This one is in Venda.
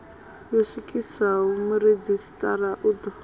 yo swikiswaho muredzhisitarara u ḓo